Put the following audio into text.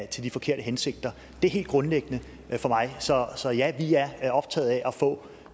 til de forkerte hensigter det er helt grundlæggende for mig så så ja vi er optaget af at få